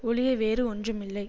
ஒழிய வேறு ஒன்றுமில்லை